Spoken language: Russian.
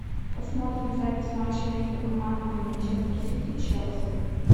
посмотрим запись матча между командами манчестер сити челси